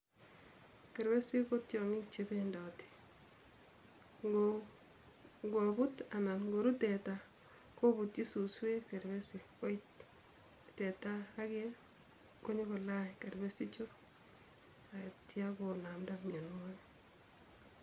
Kerpesik kotiongik che bendoti, ngobut anan koru teta, kobutyi suswek kerpesik koit teta age konyokolany kerpesichu agitya konamda mionwogik